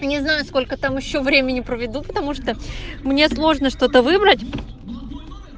не знаю сколько там ещё времени проведу потому что мне сложно что то выбрать